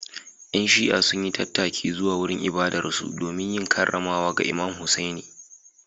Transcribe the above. ‘Yan Shi’a sun yi tattaki zuwa wurin ibadarsu domin yin karramawa ga Imam Hussaini.